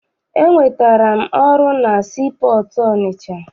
Enwetara m ọrụ na sii pọọtụ Ọnịcha.